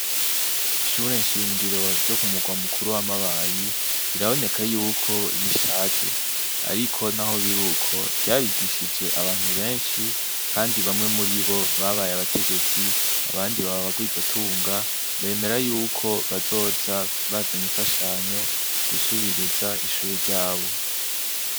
Ishure nshingiro ryo ku murwa mukuru wa mabayi biraboneka ko rishaje, naho biruko ryarigishije abantu benshi kandi bamwe murabo babaye abategetsi abandi baba abarwizatunga bemera yuko bazoza bazanye imfashanyo gusubiriza ishuri ryabo.